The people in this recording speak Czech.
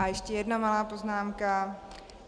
A ještě jedna malá poznámka.